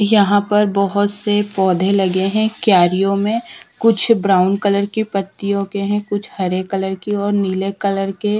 यहां पर बहोत से पौधे लगे हैं क्यारियों में कुछ ब्राउन कलर की पत्तियों के हैं कुछ हरे कलर की और नीले कलर के।